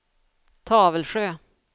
Tavelsjö